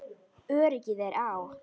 Öryggið er á.